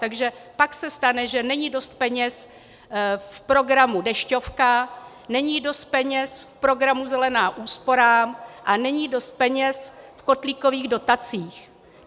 Takže pak se stane, že není dost peněz v programu Dešťovka, není dost peněz v programu Zelená úsporám a není dost peněz v kotlíkových dotacích.